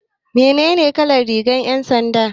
Menene kalar rigar 'yan sanda?